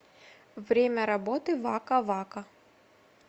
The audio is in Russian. время работы вака вака